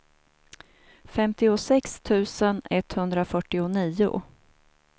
femtiosex tusen etthundrafyrtionio